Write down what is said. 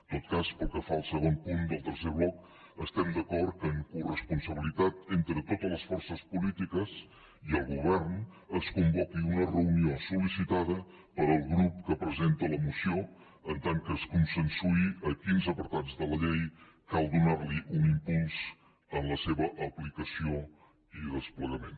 en tot cas pel que fa al segon punt del tercer bloc estem d’acord que amb coresponsabilitat entre totes les forces polítiques i el govern es convoqui una reunió sol·licitada pel grup que presenta la moció per tal que es consensuï a quins apartats de la llei cal donar un impuls en la seva aplicació i desplegament